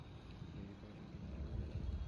заебали деньги клянчить